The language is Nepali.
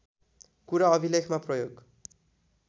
कुरा अभिलेखमा प्रयोग